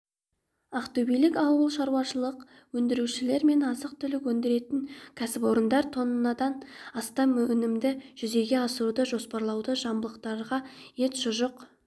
ақтөбелік ауылшаруашылық өндірушілер мен азық-түлік өндіретін кәсіпорындар тоннадан астам өнімді жүзеге асыруды жоспарлауда жамбылдықтарға ет шұжық